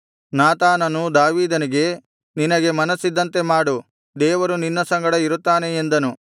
ನಾತಾನನು ದಾವೀದನಿಗೆ ನಿನಗೆ ಮನಸ್ಸಿದ್ದಂತೆ ಮಾಡು ದೇವರು ನಿನ್ನ ಸಂಗಡ ಇರುತ್ತಾನೆ ಎಂದನು